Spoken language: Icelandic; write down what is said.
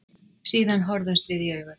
Síðan horfðumst við í augu.